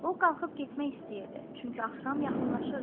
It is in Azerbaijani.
O qalxıb getmək istəyirdi, çünki axşam yaxınlaşırdı.